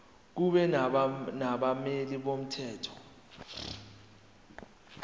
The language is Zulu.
kube nabameli bomthetho